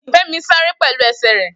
Femi sáré pẹ̀lú ẹsẹ̀ rẹ̀